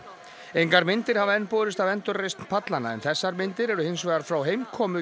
engar myndir hafa enn borist af endurreisn pallanna en þessar myndir eru hins vegar frá heimkomu